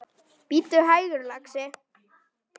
Bíddu hægur, lagsi.